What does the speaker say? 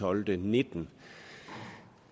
og nitten